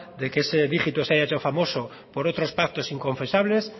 de que ese dígito se haya hecho famoso por otros pactos inconfesables